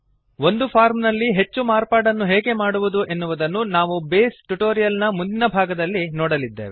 ಒಂದು ಫಾರ್ಮ್ ನಲ್ಲಿ ಹೆಚ್ಚು ಮಾರ್ಪಾಡನ್ನು ಹೇಗೆ ಮಾಡುವುದು ಎನ್ನುವುದನ್ನು ನಾವು ಬೇಸ್ ಟ್ಯುಟೋರಿಯಲ್ ನ ಮುಂದಿನ ಭಾಗದಲ್ಲಿ ನೋಡಲಿದ್ದೇವೆ